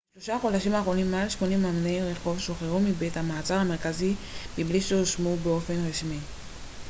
בשלושת החודשים האחרונים מעל 80 אמני רחוב שוחררו מבית המעצר המרכזי מבלי שהואשמו באופן רשמי